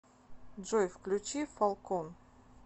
джой включи фалкон